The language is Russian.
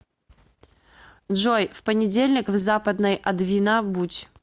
джой в понедельник в западной адвина будь